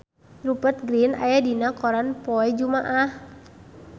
Rupert Grin aya dina koran poe Jumaah